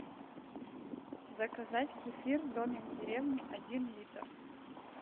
заказать кефир домик в деревне один литр